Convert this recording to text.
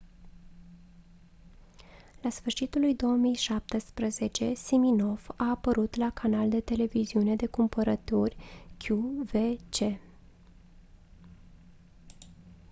la sfârșitul lui 2017 siminoff a apărut la canal de televiziune de cumpărături qvc